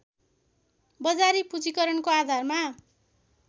बजारी पूँजीकरणको आधारमा